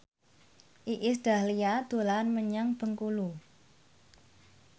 Iis Dahlia dolan menyang Bengkulu